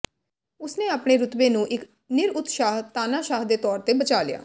ਉਸਨੇ ਆਪਣੇ ਰੁਤਬੇ ਨੂੰ ਇਕ ਨਿਰਉਤਸ਼ਾਹ ਤਾਨਾਸ਼ਾਹ ਦੇ ਤੌਰ ਤੇ ਬਚਾ ਲਿਆ